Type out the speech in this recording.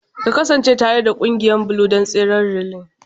Ka kasance tare da ƙungiyar Blue don tseren relay!